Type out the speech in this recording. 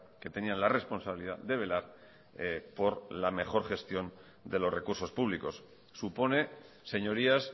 que tenían la responsabilidad de velar por la mejor gestión de los recursos públicos supone señorías